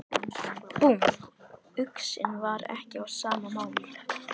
Búmm, uxinn var ekki á sama máli.